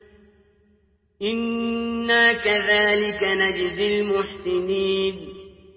إِنَّا كَذَٰلِكَ نَجْزِي الْمُحْسِنِينَ